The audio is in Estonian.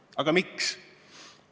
Aga miks?